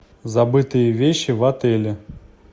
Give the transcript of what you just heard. забытые вещи в отеле